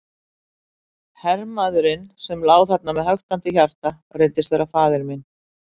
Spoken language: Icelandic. Hermaðurinn sem lá þarna með höktandi hjarta reyndist vera faðir minn.